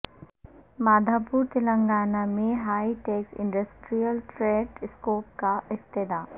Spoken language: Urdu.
مادھا پور تلنگانہ میں Hitex industrial trade expo کا افتتاح